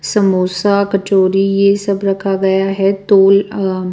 समोसा कचौरी ये सब रखा गया है तोल अ--